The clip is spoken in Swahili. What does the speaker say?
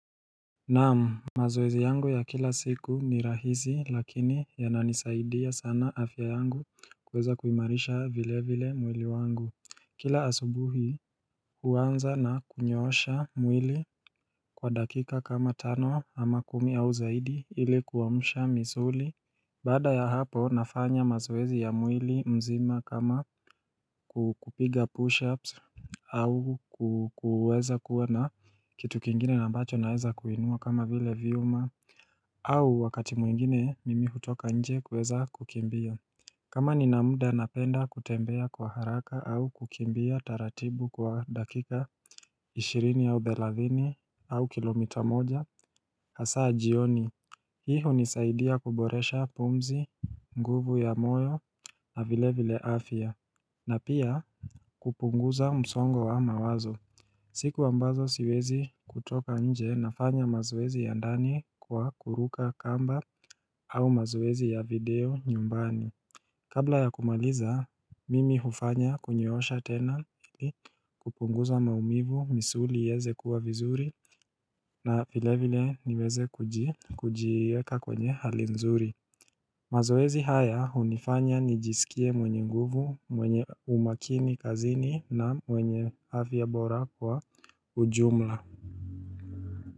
Naam mazoezi yangu ya kila siku ni rahisi lakini yananisaidia sana afya yangu kuweza kuimarisha vile vile mwili wangu Kila asubuhi huanza na kunyosha mwili kwa dakika kama tano ama kumi au zaidi ilikuamusha misuli Baada ya hapo nafanya mazoezi ya mwili mzima kama kukupiga push-ups au kuweza kuwa na kitu kingine na ambacho naweza kuinua kama vile viuma au wakati mwingine mimi hutoka nje kuweza kukimbia kama nina mda napenda kutembea kwa haraka au kukimbia taratibu kwa dakika ishirini au thelathini au kilomita moja hasaa jioni Hii hunisaidia kuboresha pumzi nguvu za moyo na vile vile afya na pia kupunguza msongo wa mawazo siku ambazo siwezi kutoka nje nafanya mazoezi ya ndani kwa kuruka kamba au mazoezi ya video nyumbani Kabla ya kumaliza, mimi hufanya kunyoosha tena ili kupunguza maumivu, misuli ieze kuwa vizuri na vile vile niweze kujiweka kwenye hali nzuri. Mazoezi haya hunifanya nijisikie mwenye nguvu, mwenye umakini kazini na mwenye afya ya bora kwa ujumla.